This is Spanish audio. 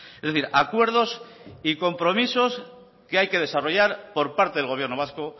es decir acuerdos y compromisos que hay que desarrollar por parte del gobierno vasco